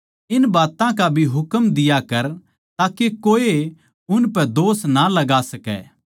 इन बात्तां का भी हुकम दिया कर ताके कोए उनपै दोष ना लगा सकै